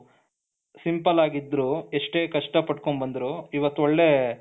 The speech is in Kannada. ಸಿಂಪಲ್ಲಾಗಿದ್ರೂ ಎಷ್ಟೇ ಕಷ್ಟಪಟ್ಕೊಂಡು ಬಂದ್ರು ಇವತ್ತು ಒಳ್ಳೆ